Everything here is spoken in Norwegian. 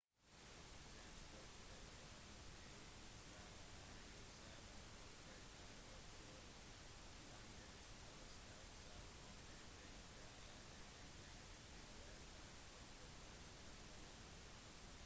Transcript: den største byen i israel er jerusalem og det er også landets hovedstad selv om dette ikke er anerkjent av fn og de fleste andre land